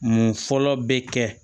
Mun fɔlɔ bɛ kɛ